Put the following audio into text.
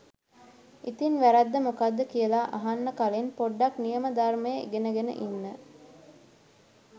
ඉතින් වැරැද්ද මොකද්ද කියල අහන්න කලින් පොඩ්ඩක් නියම ධර්මය ඉගෙන ගෙන ඉන්න.